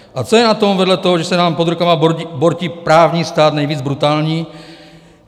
A co je na tom vedle toho, že se nám pod rukama bortí právní stát, nejvíce brutální?